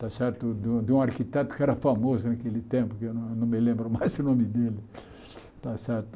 Está certo de um de um arquiteto que era famoso naquele tempo, que eu não me lembro mais o nome dele. Está certo